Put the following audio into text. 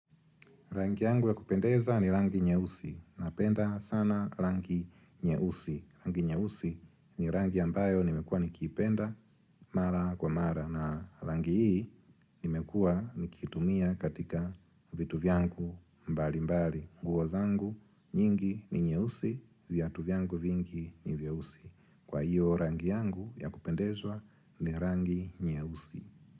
Rangi yangu ya kupendeza ni rangi nyeusi napenda sana rangi nyeusi. Rangi nyeusi ni rangi ambayo nimekua nikipenda mara kwa mara na rangi hii nimekua nikiitumia katika vitu vyangu mbali mbali. Nguo zangu nyingi ni nyeusi, vyatu vyangu vingi ni vyeusi. Kwa hiyo rangi yangu ya kupendezwa ni rangi nyeusi.